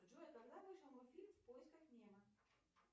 джой когда вышел мультфильм в поисках немо